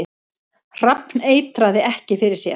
Hrafn eitraði ekki fyrir sér